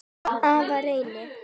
Afa Reyni.